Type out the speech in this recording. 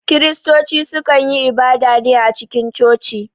Kiristoci su kan yi ibada ne a cikin coci